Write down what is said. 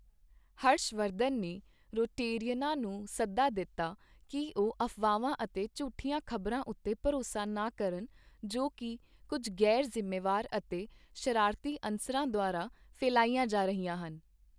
ਹਰਸ਼ ਵਰਧਨ ਨੇ ਰੋਟੇਰੀਅਨਾਂ ਨੂੰ ਸੱਦਾ ਦਿੱਤਾ ਕਿ ਉਹ ਅਫਵਾਹਾਂ ਅਤੇ ਝੂਠੀਆਂ ਖ਼ਬਰਾਂ ਉੱਤੇ ਭਰੋਸਾ ਨਾ ਕਰਨ ਜੋ ਕਿ ਕੁਝ ਗ਼ੈਰ ਜ਼ਿੰਮੇਵਾਰ ਅਤੇ ਸ਼ਰਾਰਤੀ ਅਨਸਰਾਂ ਦੁਆਰਾ ਫੈਲਾਈਆਂ ਜਾ ਰਹੀਆਂ ਹਨ।